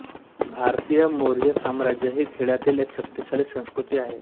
भारतीय मौर्य साम्राज्य ही खेळातील एक शक्तिशाली संस्कृती आहे